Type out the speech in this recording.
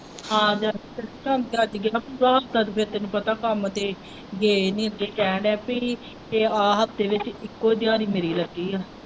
ਹਾਂ ਤੈਨੂੰ ਪਤਾ ਕੰਮ ਤੇ ਗਏ ਨਹੀਂ ਅੱਗੇ ਕਹਿਣ ਦਿਆ ਪੀ ਆਹ ਹਫਤੇ ਵਿੱਚ ਇੱਕੋ ਦਿਹਾੜੀ ਮਿਲੇ ਕਰਦੀ ਹੈ।